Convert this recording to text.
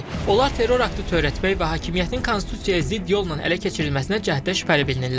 Onlar terror aktı törətmək və hakimiyyətin konstitusiyaya zidd yolla ələ keçirilməsinə cəhddə şübhəli bilinirlər.